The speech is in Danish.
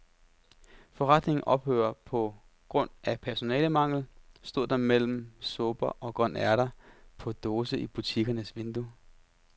Forretningen ophører på grund af personalemangel, stod der mellem supper og grønærter på dåse i butikkens vindue.